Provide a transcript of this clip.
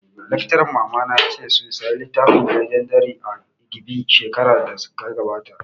Laccaran mamana ya ce su saya littafin 'legendary of Inigɓi' shekarar da ta gabata